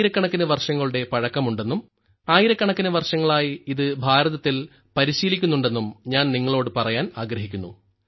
ആയിരക്കണക്കിന് വർഷങ്ങളുടെ പഴക്കമുണ്ടെന്നും ആയിരക്കണക്കിന് വർഷങ്ങളായി ഇത് ഭാരതത്തിൽ പരിശീലിക്കുന്നുണ്ടെന്നും ഞാൻ നിങ്ങളോട് പറയാൻ ആഗ്രഹിക്കുന്നു